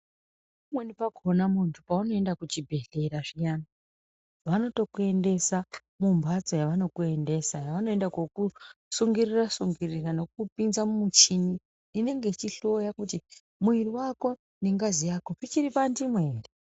Kumweni kwakona mundu paunoenda kuchibhedhleya zviyani vanotokuendesa mumbatso yanokuendesa yavanoende kokutsungirira tsungirira nokukupinza mumuchini inenge ichihloya kuti muwiri wako nengazi yako zvichiri panzvimbo here.